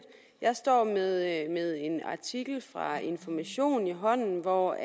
jeg står med en artikel fra information i hånden hvori